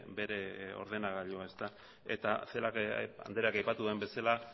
bere ordenagailua eta celaá andreak aipatu duen bezala